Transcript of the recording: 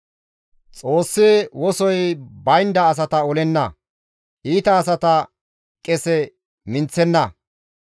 «Xoossi wosoy baynda asata olenna; iita asata qese minththenna.